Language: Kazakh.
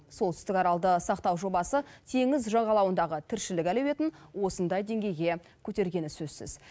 солтүстік аралды сақтау жобасы теңіз жағалауындағы тіршілік әлеуетін осындай деңгейге көтергені сөзсіз